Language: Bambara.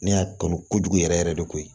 Ne y'a kanu kojugu yɛrɛ yɛrɛ de koyi